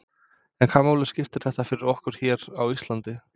En hvaða máli skiptir þetta fyrir okkur hér á Íslandi?